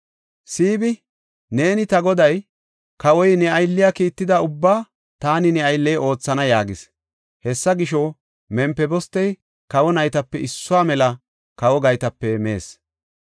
Siibi, “Neeni ta goday, kawoy ne aylliya kiitida ubbaa taani ne aylley oothana” yaagis. Hessa gisho, Mempibostey kawa naytape issuwa mela kawo gaytape mees.